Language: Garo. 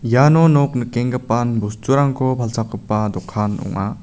iano nok nikengipan bosturangko palchakgipa dokan ong·a.